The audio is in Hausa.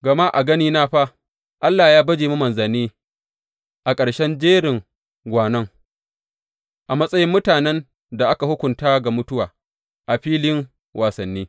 Gama a ganina fa, Allah ya baje mu manzanni a ƙarshen jerin gwanon, a matsayin mutanen da aka hukunta ga mutuwa a filin wasanni.